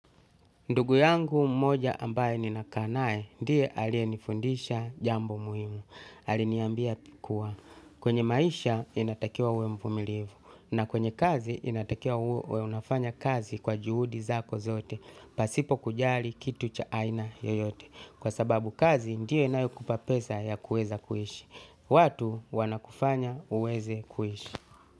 Ndugu yangu mmoja ambaye ninakaa nae, ndiye aliyenifundisha jambo muhimu. Aliniambia kuwa, kwenye maisha inatakiwa uwe mvumilivu. Na kwenye kazi inatakiwa uwe unafanya kazi kwa juhudi zako zote. Pasipo kujali kitu cha aina yoyote. Kwa sababu kazi ndiyo inayo kupa pesa ya kueza kuhishi. Watu wanakufanya uweze kuhishi.